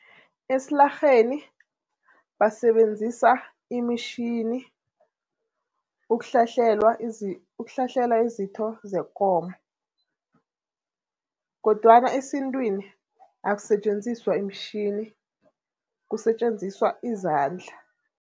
Esilarheni basebenzisa imitjhini ukuhlahlelwa izitho zekomo kodwana esintwini akusetjenziswa imitjhini kusetjenziswa izandla.